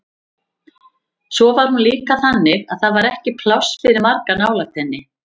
Svo var hún líka þannig að það var ekki pláss fyrir marga nálægt henni.